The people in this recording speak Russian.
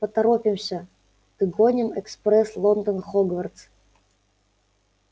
поторопимся догоним экспресс лондон хогвартс